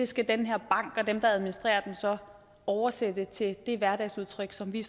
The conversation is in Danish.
skal den her bank og dem der administrerer den så oversætte til de hverdagsudtryk som vi